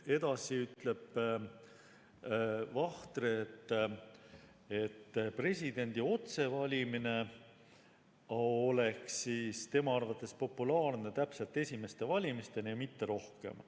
Edasi ütleb Vahtre, et presidendi otsevalimine oleks tema arvates populaarne täpselt esimeste valimisteni ja mitte rohkem.